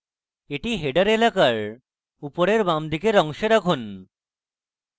এটি header এলাকার উপরের বাঁদিকের অংশে রাখুন